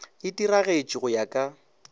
e diragatše go ya ka